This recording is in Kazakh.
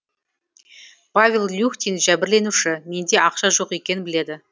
павел люхтин жәбірленуші менде ақша жоқ екенін біледі